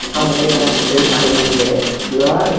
আমাদের কে কেমন করে ছেড়ে পালিঙ যেচে লই?